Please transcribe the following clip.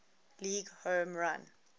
league home run